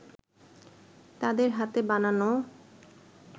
তাদের হাতে বানানো